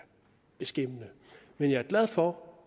beskæmmende men jeg er glad for